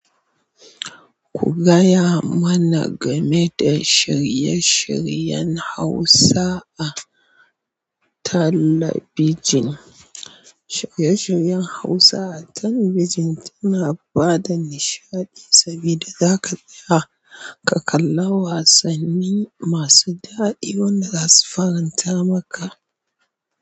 Ku gaya mana game da shirye-shiryen Hausa a talabijin. Shirye-shiryen Hausa a talabijin suna ba da nishaɗi sabida zaka iya ka kalli wasanni masu daɗi wada za su faranta maka.